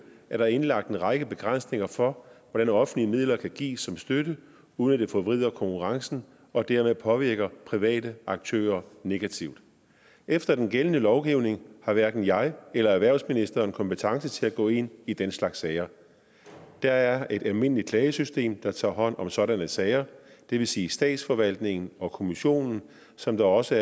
er der indlagt en række begrænsninger for hvordan offentlige midler kan gives som støtte uden at det forvrider konkurrencen og dermed påvirker private aktører negativt efter den gældende lovgivning har hverken jeg eller erhvervsministeren kompetence til at gå ind i den slags sager der er et almindeligt klagesystem der tager hånd om sådanne sager det vil sige statsforvaltningen og kommissionen som der også